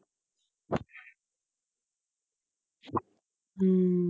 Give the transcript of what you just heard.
ਹਮ